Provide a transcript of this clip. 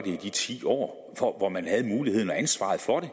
i de ti år hvor man havde muligheden og ansvaret for det